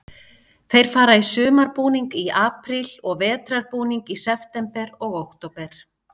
Þeir fara í sumarbúning í apríl og vetrarbúning í september og október.